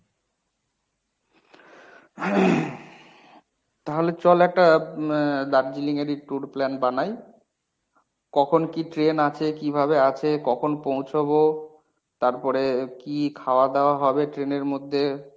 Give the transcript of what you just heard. তাহলে চল একটা এর দার্জিলিং এরই tour plan বানাই। কখন কী train আছে কিভাবে আছে, কখন পৌঁছবো, তারপরে কী খাওয়া দাওয়া হবে train এর মধ্যে